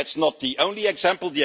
And that's not the only example